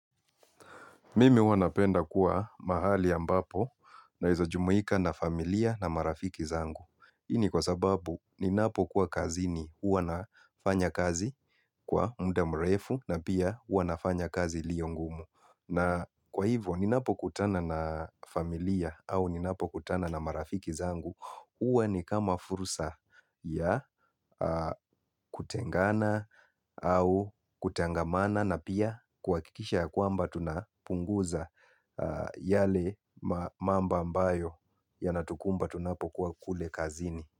Mimi huwa napenda kuwa mahali ambapo naeza jumuika na familia na marafiki zangu. Hii ni kwa sababu ninapo kuwa kazini. Huwa nafanya kazi kwa mda mrefu na pia huwa nafanya kazi liyo ngumu. Na kwa hivyo ninapo kutana na familia au ninapo kutana na marafiki zangu. Huwa ni kama fursa ya kutengana au kutangamana na pia kuhakikisha ya kwamba tunapunguza. Yale mambo ambayo yanatukumba tunapokuwa kule kazini.